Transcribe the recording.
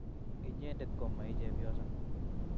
Inyendet ko maichepyoso.